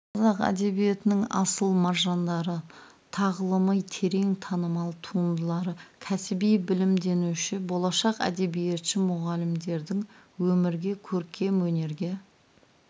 қазақ әдебиетінің асыл маржандары тағылымы терең танымал туындылары кәсіби білімденуші болашақ әдебиетші мұғалімдердің өмірге көркем өнерге